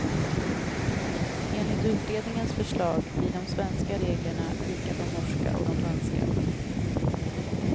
Enligt utredningens förslag blir de svenska reglerna lika de norksa och de danska.